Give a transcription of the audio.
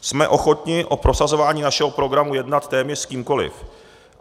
Jsme ochotni o prosazování našeho programu jednat téměř s kýmkoliv.